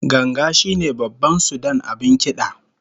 Ganga shine babban sudan abin kida